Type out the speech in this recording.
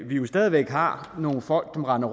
vi jo stadig væk har nogle folk som render